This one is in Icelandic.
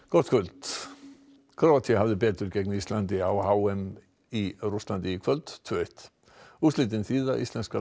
gott kvöld Króatía hafði betur gegn Íslandi á h m í Rússlandi í kvöld tvö eitt úrslitin þýða að íslenska